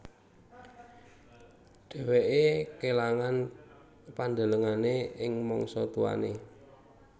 Dheweke kelangan pandelengane ing mangsa tuane